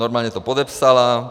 Normálně to podepsala.